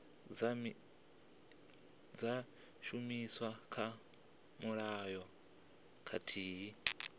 dza shumiswa kha mulayo khathihi